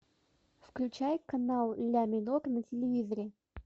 включай канал ля минор на телевизоре